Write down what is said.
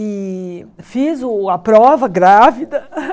E fiz o a prova grávida.